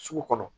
Sugu kɔnɔ